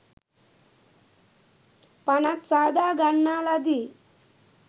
පනත් සාදා ගන්නා ලදී